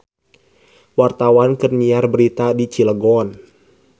Wartawan keur nyiar berita di Cilegon